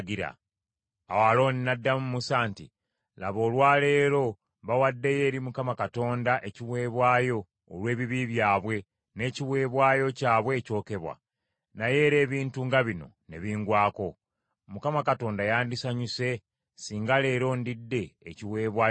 Awo Alooni n’addamu Musa nti, “Laba, olwa leero bawaddeyo eri Mukama Katonda ekiweebwayo olw’ebibi byabwe n’ekiweebwayo kyabwe ekyokebwa; naye era ebintu nga bino ne bingwako. Mukama Katonda yandisanyuse singa leero ndidde ekiweebwayo olw’ekibi?”